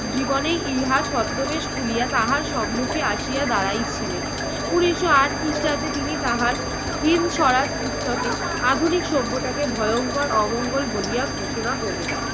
জীবনেই ইহা ছদ্মবেশ খুলিয়া তাহার সম্মুখে আসিয়া দাঁড়াই ছিলেন। উনিশশো আট খ্রিস্টাব্দে তিনি তাহার হিন্দ সরাজ পুস্তকে আধুনিক সভ্যতাকে ভয়ঙ্কর অমঙ্গল বলিয়া ঘোষণা করলেন।